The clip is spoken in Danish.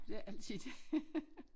For det er altid det